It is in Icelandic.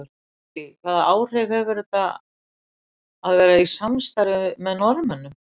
Lillý: Hvaða áhrif hefur þetta að vera í samstarfi með Norðmönnum?